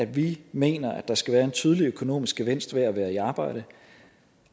vi mener at der skal være en tydelig økonomisk gevinst ved at være i arbejde